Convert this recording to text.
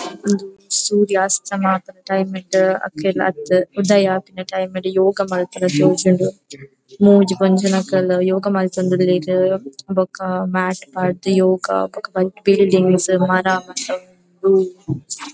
ಇಂದು ಸೂರ್ಯ ಅಸ್ತಮ ಆಪುನ ಟೈಮ್ ಇತ್ತೆ ಅತ್ತ್ ಉದಯ ಆಪುನ ಟೈಮ್ ಡ್ ಯೋಗ ಮನ್ಪುನ ತೋಜುಂಡು ಮೂಜಿ ಪೊಂಜೊವುನಕುಲು ಯೋಗ ಮಂತೊಂದುಲ್ಲೆರ್ ಬೊಕ್ಕ ಮ್ಯಾಟ್ ಪಾರ್ದ್ ಯೋಗ ಬೊಕ್ಕ ಬಿಲ್ಡಿಂಗ್ಸ್ ಮರ ಮಾತ ಉಂಡು.